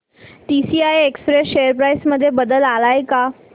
TCI express share price मध्ये बदल आलाय का